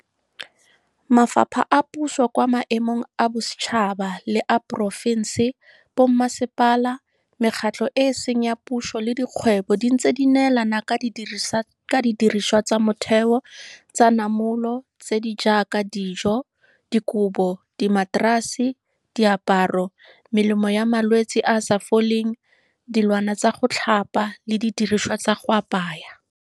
Mafapha a puso kwa maemong a bosetšhaba le a porofense, bommasepala, mekgatlho e e seng ya puso le dikgwebo di ntse di neelana ka didiriswa tsa motheo tsa namolo tse di jaaka dijo, dikobo, dimaterase, diaparo, melemo ya malwetsi a a sa foleng, dilwana tsa go tlhapa le didiriswa tsa go apaya.